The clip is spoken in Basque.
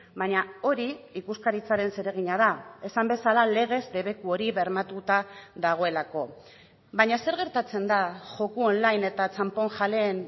baina hori ikuskaritzaren zeregina da esan bezala legez debeku hori bermatuta dagoelako baina zer gertatzen da joko online eta txanponjaleen